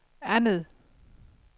andet